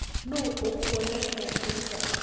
Nũũ ũkwonagia kũruga?